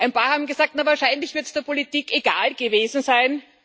Ein paar haben gesagt Wahrscheinlich wird es der Politik egal gewesen sein.